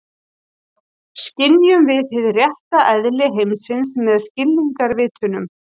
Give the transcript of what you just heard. Skynjum við hið rétta eðli heimsins með skilningarvitunum?